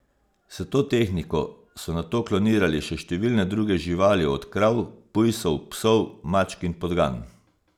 S to tehniko so nato klonirali še številne druge živali od krav, pujsov, psov, mačk in podgan.